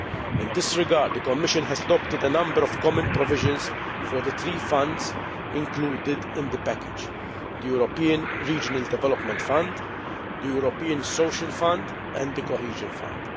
In this regard, the Commission has adopted a number of common provisions for the three Funds included in the package the European Regional Development Fund, the European Social Fund, and the Cohesion Fund.